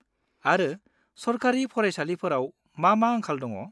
-आरो सरकारि फरायसालिफोराव मा मा आंखाल दङ?